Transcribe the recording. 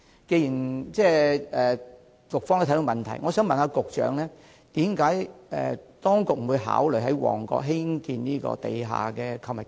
既然局方也看到問題所在，我想問局長為何當局不考慮在旺角發展地下購物街？